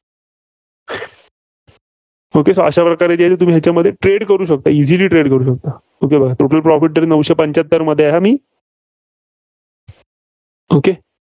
अशा प्रकारे ह्याच्यामध्ये trade करू शकता. easily trade करू शकता. total profit तरी नऊशे रुपयांचा पंच्याहत्तरमध्ये आहे मी okay